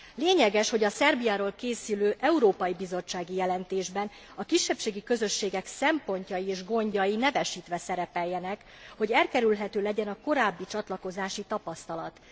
Lényeges, hogy a Szerbiáról készülő európai bizottsági jelentésben a kisebbségi közösségek szempontjai és gondjai nevesítve szerepeljenek, hogy elkerülhető legyen a korábbi csatlakozási tapasztalat.